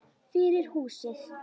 Fyrir húsið.